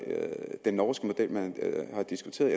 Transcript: den norske model man har diskuteret